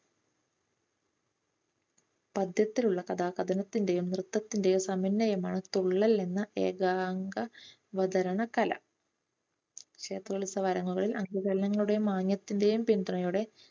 പദ്യത്തിലുള്ള കഥ കഥനത്തിന്റെയും നൃത്തത്തിന്റയും സമന്വയമാണ് തുള്ളൽ എന്ന് ഏകാംഗ അവതരണ കല. ക്ഷേത്രോത്സവ അരങ്ങുകളിൽ അനുകരണത്തിന്റെയും മാന്യത്തിന്റെയും പിന്തുണയോടെ